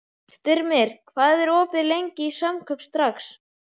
Styrmir, hvað er opið lengi í Samkaup Strax?